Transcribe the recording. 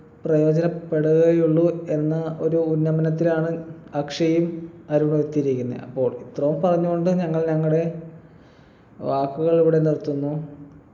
പ്രയോജനപ്പെടുകയേ ഉള്ളു എന്ന ഒരു ഉന്നമനത്തിനാണ് അക്ഷയും അരുണും എത്തിയിരിക്കുന്നെ അപ്പോൾ ഇത്രയും പറഞ്ഞു കൊണ്ട് ഞങ്ങൾ ഞങ്ങടെ വാക്കുകൾ ഇവിടെ നിർത്തുന്നു